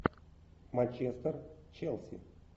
манчестер челси